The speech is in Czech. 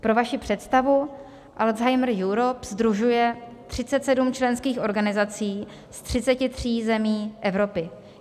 Pro vaši představu, Alzheimer Europe sdružuje 37 členských organizací z 33 zemí Evropy.